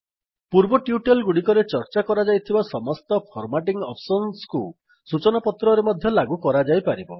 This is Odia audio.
ପୂର୍ବ ଟ୍ୟୁଟୋରିଆଲ୍ ଗୁଡ଼ିକରେ ଚର୍ଚ୍ଚା କରାଯାଇଥିବା ସମସ୍ତ ଫର୍ମାଟିଙ୍ଗ୍ ଅପ୍ସସନ୍ସକୁ ସୂଚନାପତ୍ରରେ ମଧ୍ୟ ଲାଗୁ କରାଯାଇପାରିବ